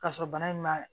K'a sɔrɔ bana in ma